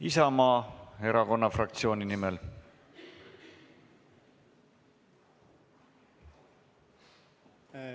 Aivar Kokk Isamaa fraktsiooni nimel, palun!